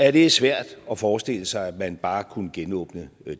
at det er svært at forestille sig at man bare kunne genåbne